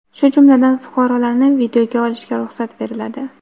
shu jumladan fuqarolarni videoga olishga ruxsat beriladi.